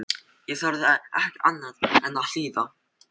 Ég þorði ekki annað en að hlýða.